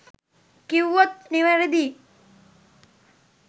කිව්වොත් නිවැරදි